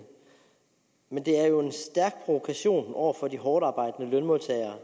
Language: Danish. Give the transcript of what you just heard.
men det er jo en stærk provokation over for de hårdtarbejdende lønmodtagere